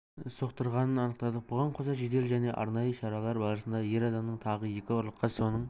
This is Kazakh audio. соқтырғанын анықтадық бұған қоса жедел және арнайы шаралар барысында ер адамның тағы екі ұрлыққа соның